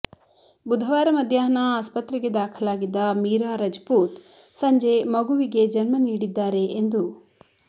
ಬುಧವಾರ ಮಧ್ಯಾಹ್ನ ಆಸ್ಪತ್ರೆಗೆ ದಾಖಲಾಗಿದ್ದ ಮೀರಾ ರಜಪೂತ್ ಸಂಜೆ ಮಗುವಿಗೆ ಜನ್ಮ ನೀಡಿದ್ದಾರೆ ಎಂದು